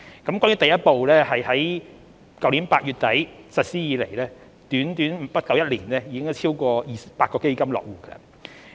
就第一步而言，自去年8月底實施以來，在不足一年的短時間內，已有超過200個基金落戶。